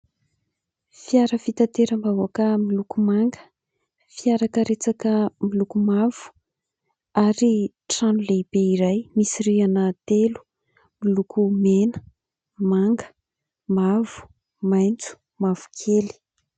Fiara fitateram-bahoaka miloko manga. Fiara karetsaka miloko mavo ary trano lehibe iray misy rihana telo miloko mena, manga, mavo, maitso, mavokely.